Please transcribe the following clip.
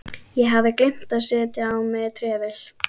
Ég hafði gleymt að setja á mig trefilinn.